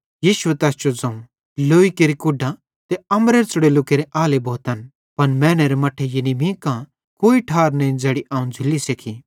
यीशुए तैस जो ज़ोवं लौई केरि कूढां ते अम्बरेरे च़ुड़ोल्लू केरे आले भोतन पन मैनेरे मट्ठे यानी मीं कां कोई ठार नईं ज़ैड़ी अवं झ़ुल्ली सेक्खी